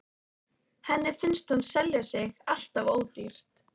Henni finnst hún selja sig alltof ódýrt.